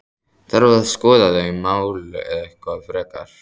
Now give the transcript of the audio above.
Þarf að skoða þau mál eitthvað frekar?